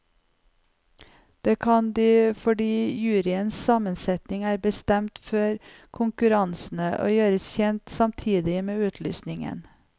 Det kan de fordi juryens sammensetning er bestemt før konkurransene og gjøres kjent samtidig med utlysningen.